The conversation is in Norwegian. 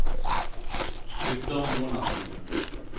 Guttorm Jonassen